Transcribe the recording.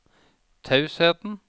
tausheten